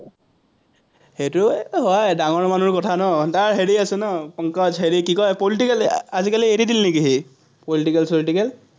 সেইটো হয়, ডাঙৰ মানুহৰ কথা ন, তাৰ হেৰি আছে ন, পংকজ হেৰি কি কয়, political আজিকালি এৰি দিলে নেকি সি, political চলিটিকেল